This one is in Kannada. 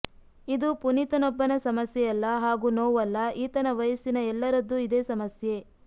ಇದು ಪುನೀತನೊಬ್ಬನ ಸಮಸ್ಯೆಯಲ್ಲ ಹಾಗೂ ನೋವಲ್ಲ ಈತನ ವಯಸ್ಸಿನ ಎಲ್ಲರದ್ದೂ ಇದೇ ಸಮಸ್ಯೆ